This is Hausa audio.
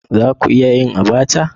Za ku iya yin Abacha?